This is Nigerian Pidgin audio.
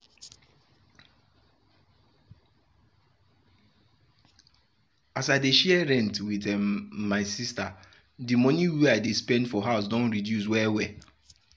as i dey share rent with um my sister de monie wey i dey spend for house don reduce well well.